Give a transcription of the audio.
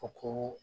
U ko